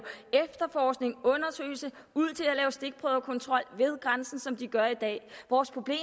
efterforskning undersøgelse og stikprøvekontrol ved grænsen som de gør i dag vores problem